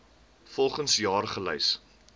volgens jaar gelys